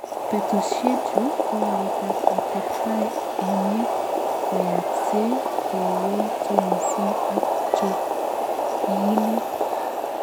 betushechu kowalet ab atebtab emet koyaaksei kowoitu missing ako en chokyinet